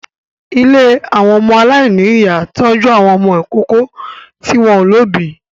Ilé àwọn ọmọ aláìníyà ń tọ́jú àwọn ọmọ ìkókó tí wọ́n ò lóbìí